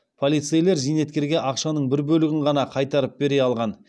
полицейлер зейнеткерге ақшаның бір бөлігін ғана қайтарып бере алған